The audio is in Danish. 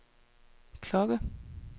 klokke